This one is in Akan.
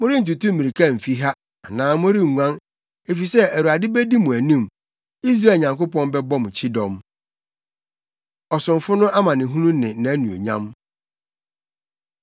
Morentutu mmirika mfi ha anaa morenguan; efisɛ Awurade bedi mo anim, Israel Nyankopɔn bɛbɔ mo kyidɔm. Ɔsomfo No Amanehunu Ne Nʼanuonyam